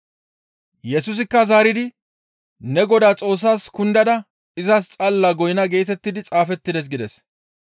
Yesusikka zaaridi, «Ne Godaa Xoossas kundada izas xalla goynna geetettidi xaafettides» gides.